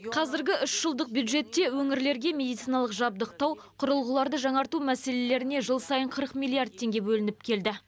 қазіргі үш жылдық бюджетте өңірлерге медициналық жабдықтау құрылғыларды жаңарту мәселелеріне жыл сайын қырық миллиард теңге бөлініп келді